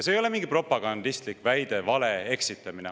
See ei ole mingi propagandistlik väide, vale ega eksitamine.